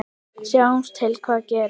Sjáum til hvað gerist.